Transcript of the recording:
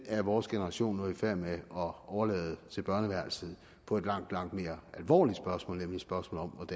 er vores generation nu i færd med at overlade til børneværelset på et langt langt mere alvorligt spørgsmål nemlig spørgsmålet